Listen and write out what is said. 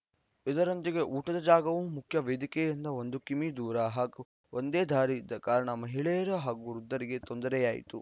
ಇದರೊಂದಿಗೆ ಊಟದ ಜಾಗವು ಮುಖ್ಯ ವೇದಿಕೆಯಿಂದ ಒಂದು ಕಿಮೀ ದೂರ ಹಾಗೂ ಒಂದೇ ದಾರಿ ಇದ್ದ ಕಾರಣ ಮಹಿಳೆಯರು ಹಾಗೂ ವೃದ್ಧರಿಗೆ ತೊಂದರೆಯಾಯಿತು